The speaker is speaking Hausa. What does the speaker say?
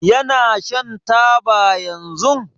Yana shan taba yanzun?